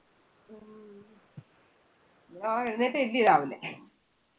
ആ എഴുന്നേറ്റ അല്ലെയോ രാവിലെ.